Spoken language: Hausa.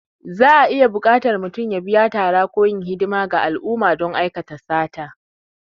Za'a iya buƙatar mutum ya biya tara ko yin hidimar ga al'umma don aikata sata.